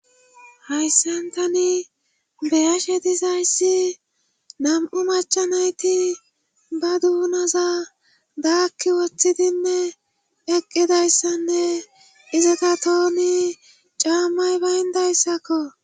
hayssan tani beyashe dizayssi nam7u machanayti ba duunaza daakki woththidinne eqqidayssanne izita tooni caammay bayndayssakko